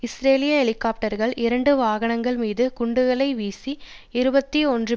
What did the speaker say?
இஸ்ரேலிய ஹெலிகாப்டர்கள் இரண்டு வாகனங்கள் மீது குண்டுகளை வீசி இருபத்தி ஒன்று